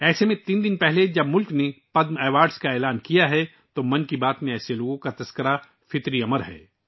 ایسے میں جب ملک نے تین دن پہلے ہی پدم ایوارڈ کا اعلان کیا تو 'من کی بات' میں ایسے لوگوں کا چرچا ہونا فطری بات ہے